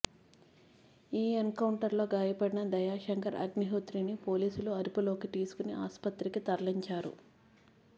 ఈ encounter లో గాయపడిన దయాశంకర్ అగ్నిహోత్రిని పోలీసులు అదుపులోకి తీసుకుని ఆసుపత్రికి తరలించారు